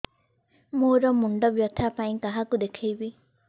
ମୋର ମୁଣ୍ଡ ବ୍ୟଥା ପାଇଁ କାହାକୁ ଦେଖେଇବି